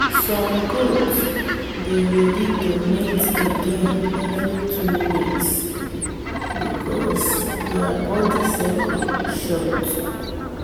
some goat dey ready to mate again every two weeks because their body cycle short.